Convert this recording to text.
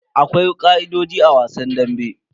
Akwai ka'idojin a wasan dambe.